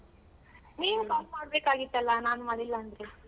ನೀನ್ call ಮಾಡ್ಬೇಕಾಗಿತ್ತಲ್ಲ ನಾನ್ ಮಾಡಿಲ್ಲ ಅಂದ್ರು.